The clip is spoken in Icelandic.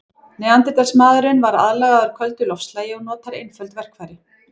Neanderdalsmaðurinn var aðlagaður köldu loftslagi og notaði einföld verkfæri.